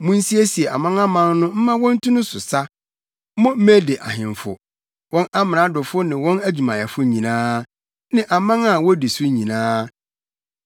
Munsiesie amanaman no mma wontu no so sa, mo Mede ahemfo, wɔn amradofo ne wɔn adwumayɛfo nyinaa, ne aman a wodi so nyinaa.